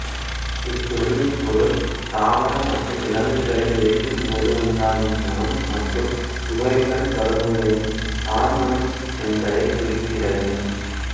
இச்சொல்லின் பொருள் தாவர மற்றும் விலங்குகளை எரிக்கும்போது உண்டாகும் மணம் மற்றும் சுவையுடன் தொடர்புடைய தார்மணம் என்பதைக் குறிக்கிறது